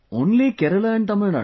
Only Kerala and Tamilnadu